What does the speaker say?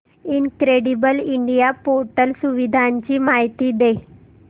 incredible India portal सुविधांची माहिती दे